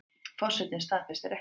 Forsetinn staðfestir ekki